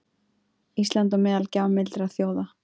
Ísland á meðal gjafmildra þjóða